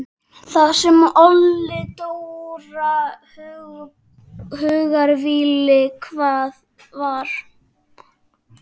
Það sem olli Dóra hugarvíli var að